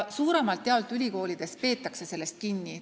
Suuremalt jaolt peetakse ülikoolides sellest kinni.